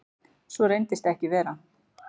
Svo reynist ekki vera.